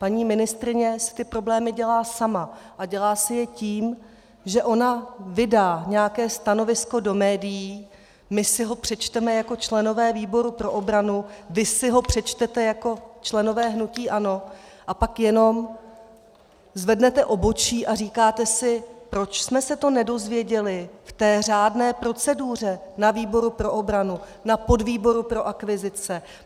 Paní ministryně si ty problémy dělá sama a dělá si je tím, že ona vydá nějaké stanovisko do médií, my si ho přečteme jako členové výboru pro obranu, vy si ho přečtete jako členové hnutí ANO a pak jenom zvednete obočí a říkáte si, proč jsme se to nedozvěděli v té řádné proceduře na výboru pro obranu, na podvýboru pro akvizice.